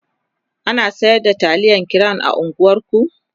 ana sayar da taliyan crown a unguwan ku?